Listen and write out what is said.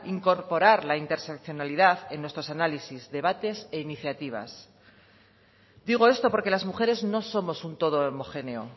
incorporar la interseccionalidad en nuestros análisis debate e iniciativas digo esto porque las mujeres no somos un todo homogéneo